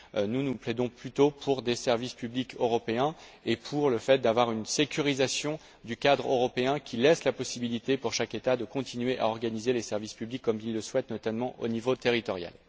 Nous, nous plaidons plutôt pour des services publics européens et pour le fait d'avoir une sécurisation du cadre européen qui laisse la possibilité pour chaque État de continuer à organiser les services publics comme il le souhaite, notamment au niveau territorial.